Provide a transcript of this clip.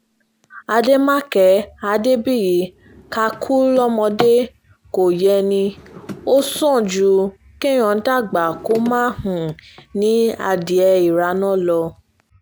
àdèmàkè adébíyí ká kú um lọ́mọdé kò yẹ ni ó sàn ju kéèyàn dàgbà kó má um ní adìẹ ìraná lọ